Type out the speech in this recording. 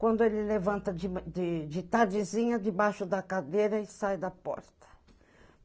Quando ele levanta de de de tardezinha, debaixo da cadeira e sai da porta.